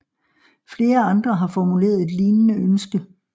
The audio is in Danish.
Flere andre har formuleret et lignende ønske